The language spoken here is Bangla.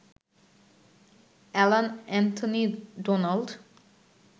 Alan Anthony Donald